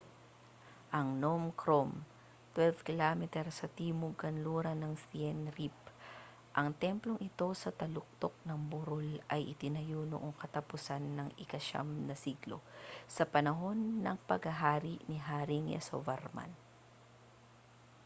ang phnom krom 12 km sa timog-kanluran ng siem reap ang templong ito sa taluktok ng burol ay itinayo noong katapusan ika-9 na siglo sa panahon ng paghahari ni haring yasovarman